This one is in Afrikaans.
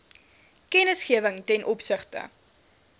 kennisgewing ten opsigte